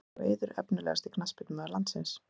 Ásgeir og Eiður Efnilegasti knattspyrnumaður landsins?